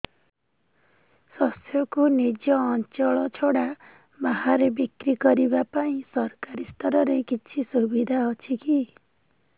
ଶସ୍ୟକୁ ନିଜ ଅଞ୍ଚଳ ଛଡା ବାହାରେ ବିକ୍ରି କରିବା ପାଇଁ ସରକାରୀ ସ୍ତରରେ କିଛି ସୁବିଧା ଅଛି କି